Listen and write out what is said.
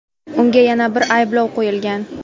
Unga yana bir ayblov qo‘yilgan.